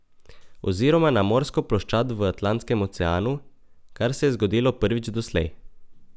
Oziroma na morsko ploščad v Atlantskem oceanu, kar se je zgodilo prvič doslej.